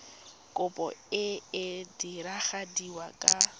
kopo e e diragadiwa ka